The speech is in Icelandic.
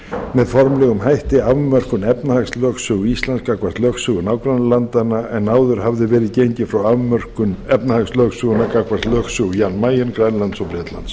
með formlegum hætti afmörkun efnahagslögsögu íslands gagnvart lögsögu nágrannalandanna en áður hafði verið gengið frá afmörkun efnahagslögsögunnar gagnvart lögsögu jan mayen grænlands og bretlands